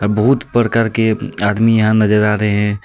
बोहोत प्रकार के आदमी यहाँ नजर आ रहे हे.